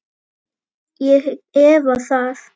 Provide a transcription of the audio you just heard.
Ég efa það.